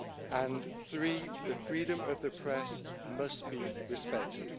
And three, the freedom of the press must be respected.